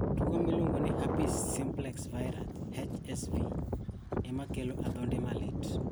Tuwo miluongo ni herpes simplex virus (HSV) ema kelo adhonde malit.